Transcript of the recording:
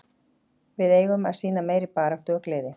Við eigum að sýna meiri baráttu og gleði.